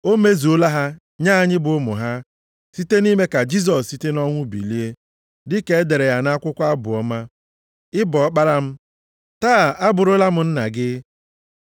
O mezuola ha nye anyị bụ ụmụ ha, site na-ime ka Jisọs site nʼọnwụ bilie, dịka e dere ya nʼakwụkwọ Abụ ọma, “ ‘Ị bụ ọkpara m, taa abụrụla m nna gị.’ + 13:33 \+xt Abụ 2:7\+xt*